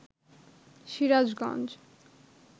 Sirajganj